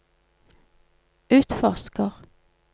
utforsker